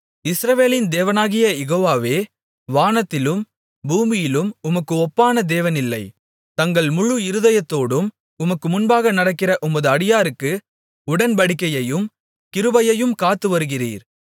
இஸ்ரவேலின் தேவனாகிய யெகோவாவே வானத்திலும் பூமியிலும் உமக்கு ஒப்பான தேவனில்லை தங்கள் முழு இருதயத்தோடும் உமக்கு முன்பாக நடக்கிற உமது அடியாருக்கு உடன்படிக்கையையும் கிருபையையும் காத்துவருகிறீர்